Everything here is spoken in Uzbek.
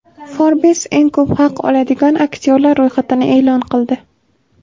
Forbes eng ko‘p haq oladigan aktyorlar ro‘yxatini e’lon qildi .